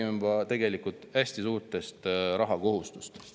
Me räägime tegelikult hästi suurtest rahalistest kohustustest.